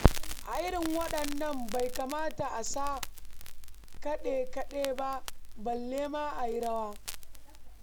A irin waɗannan bai kamata a sa kaɗe-kaɗe ba, balle ma a yi rawa.